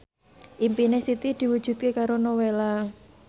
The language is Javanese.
impine Siti diwujudke karo Nowela